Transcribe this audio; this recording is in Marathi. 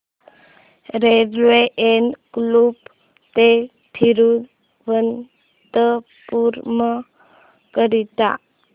रेल्वे एर्नाकुलम ते थिरुवनंतपुरम करीता